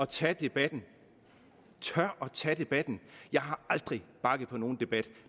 tage debatten tør at tage debatten jeg har aldrig bakket på nogen debat